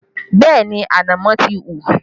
Bẹẹ ni, ànámọ́ ti hù